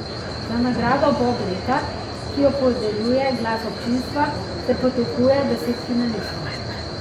Za nagrado bob leta, ki jo podeljuje glas občinstva, se poteguje deset finalistov.